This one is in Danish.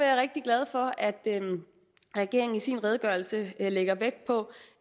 er rigtig glad for at regeringen i sin redegørelse lægger vægt på